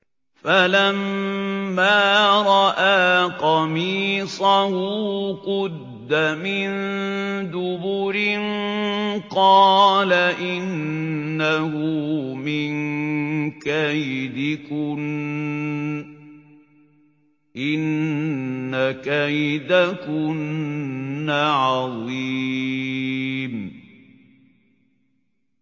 فَلَمَّا رَأَىٰ قَمِيصَهُ قُدَّ مِن دُبُرٍ قَالَ إِنَّهُ مِن كَيْدِكُنَّ ۖ إِنَّ كَيْدَكُنَّ عَظِيمٌ